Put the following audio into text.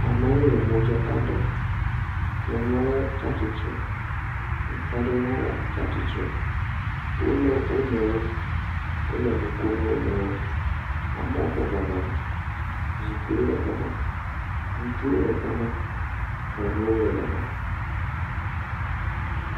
Amewo le modaka ɖem. Nyɔnua le tsa tsitre, ŋutsu aɖe hã tsa tsitre. Wolé wo nɔewo. Wole no ko na wo nɔewo. Amewo bɔbɔ nɔ anyi. Zikpiwo le gama. Ŋutsuwo le gama, nyɔnuwo le gama.